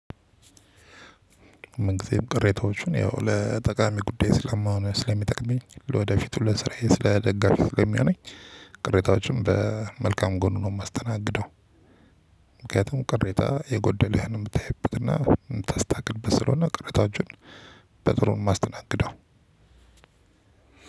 ምን ጊዜም ቅሬታዎቹን ያው ለጠቃሚ ጉዳይ ስለማሆን ስለሚጠቅመኝ ለወደፊቱ ለስራዬ ስለ ደጋፊው ለሚዮነኝ ቅሬታዎችም በመልካም ጎኑ ነው የማስተናግደው። ምክንያቱም ቅሬታ የጎደለህን የምታይበትና ምታስታክልበት ስለሆነ ቅሬታዎችን። በጥሩ ነው የማስተናግደው።